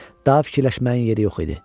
Daha fikirləşməyin yeri yox idi.